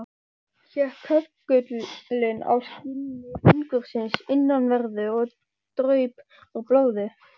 Hékk köggullinn á skinni fingursins innanverðu, og draup úr blóð.